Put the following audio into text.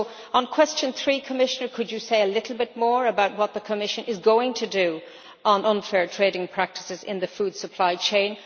So on question 3, could the Commissioner say a bit more about what the Commission is going to do on unfair trading practices in the food supply chain?